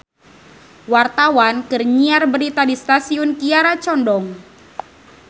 Wartawan keur nyiar berita di Stasiun Kiara Condong